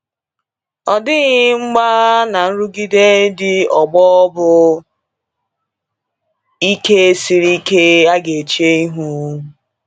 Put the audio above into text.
Ọ dịghị mgbagha na nrụgide ndị ọgbọ bụ ike siri ike a ga-eche ihu.